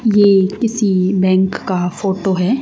ये किसी बैंक का फोटो हैं।